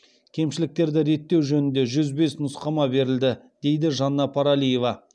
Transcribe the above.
кемшіліктерді реттеу жөнінде жүз бес нұсқама берілді дейді жанна паралиева